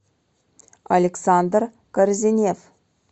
александр корзинев